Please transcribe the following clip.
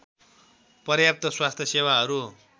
पर्याप्त स्वास्थ्य सेवाहरू